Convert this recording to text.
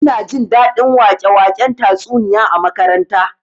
Ina jin daɗin wake-waken tatsuniya a makaranta